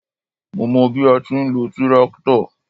Mó mọ bí a ti ń lo tíráktọ̀.